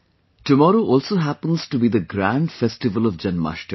tomorrow also happens to be the grand festival of Janmashtmi